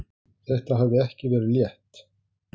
Þetta hafði ekki verið létt.